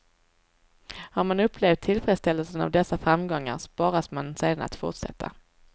Har man upplevt tillfredsställelsen av dessa framgångar sporras man sedan att fortsätta.